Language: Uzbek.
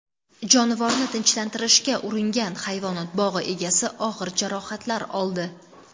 Jonivorni tinchlantirishga uringan hayvonot bog‘i egasi og‘ir jarohatlar oldi.